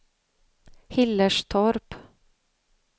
Hillerstorp